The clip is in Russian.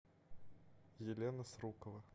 елена срукова